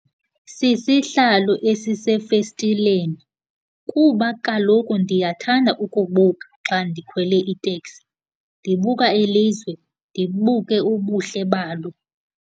Sisihlalo esisefestileni kuba kaloku ndiyathanda ukubuka xa ndikhwele iteksi, ndibuka ilizwe, ndibuke ubuhle balo.